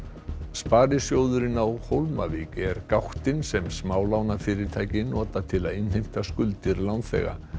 sparisjóðurinn á Hólmavík er gáttin sem smálánafyrirtæki nota til að innheimta skuldir lánþega